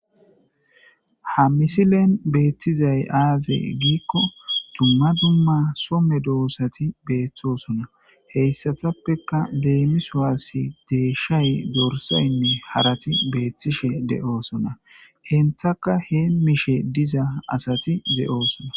Ha misilen beettizay aaze giikko dumma dumma somme doossati beeththosona heyssatappeka leemiswaassi deeshshay dorsaynne harati beethtishe de'oosona henthaka he mishe diza asati ze'oosona